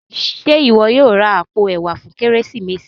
Ṣe iwọ yóò rà apó ẹwà fún Kérésìmesì?